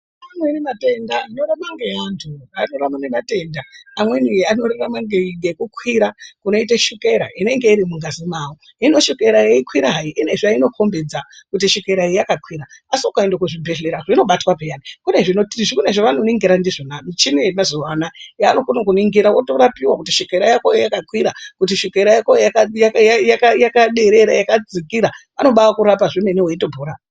Amweni matenda anorarama ngeantu, anorarama ngematenda , amweni anorarama ngekukwira kunoite shokera inenge irimungazi mwawo hino shokera yeikwira hai ine zvainokombedza kuti shokera iyi yakakwira asi ukaende kuzvibhehleya zvinobatwa peyani, kunezvavanoningira ndizvona michini yemazuwa ano aya yaanokone kuningira otorapiwa kuti shokera yakoyo yakakwira kuti shokera yakoyo yakadzikira /yakaderera anoba akurapa zvemene weitopona.